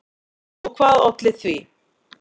Og hvað olli því?